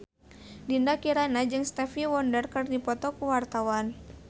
Dinda Kirana jeung Stevie Wonder keur dipoto ku wartawan